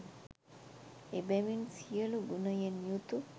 එබැවින් සියලු ගුණයෙන් යුතු,